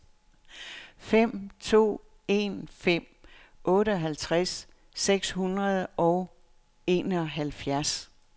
fem to en fem otteoghalvtreds seks hundrede og enoghalvfjerds